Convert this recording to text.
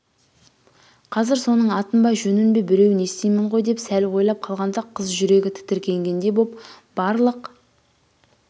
қазір соның атын ба жөнін бе біреуін естимін ғой деп сәл ойлап қалғанда қыз жүрегі тітірегендей боп барлық